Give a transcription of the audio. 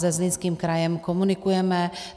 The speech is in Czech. Se Zlínským krajem komunikujeme.